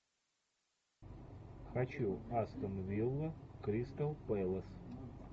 хочу астон вилла кристал пэлас